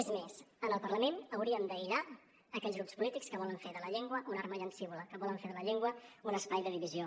és més en el parlament hauríem d’aïllar aquells grups polítics que volen fer de la llengua una arma llancívola que volen fer de la llengua un espai de divisió